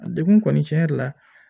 A degun kɔni tiɲɛ yɛrɛ la